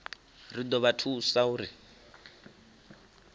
ri do vha thusa uri